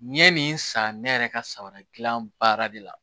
N ye nin san ne yɛrɛ ka samaradilan baara de la